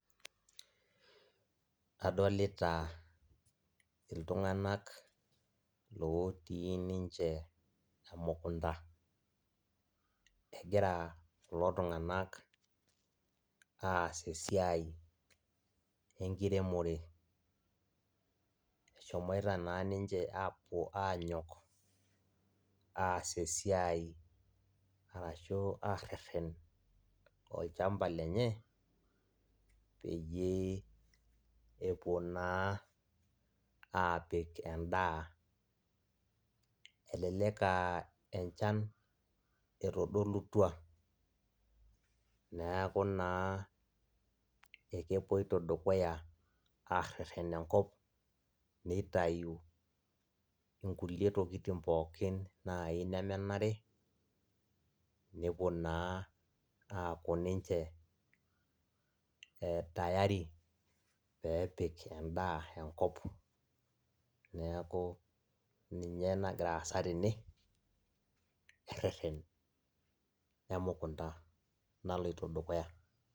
Adolita iltunganak otii ninche emukunda, egira kulo tunganak aas esiai enkiremore eshomoita na ninche apuo anyok aas esiai arashu areren olchamba lenye peyieul epuo na apik endaa elelek a enchan etodolutwa neaku na akepoito dukuya areren enkop nitau nkulie tokitin pookin nai nemenare nepuo naa ninche aku tayari pepik endaa enkop, neaku ninye ena nagira aasa tene, ereren emukunda naloito dukuya.